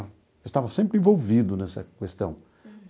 Eu estava sempre envolvido nessa questão.